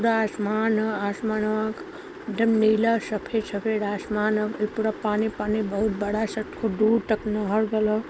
पूरा आसमान ह। आसमानवा क एकदम नीला सफेद सफेद आसमान ह। फिर पूरा पानी पानी बहुत बड़ा सा। खूब दूर तक नहर गइल ह।